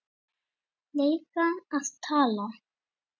lega að tala?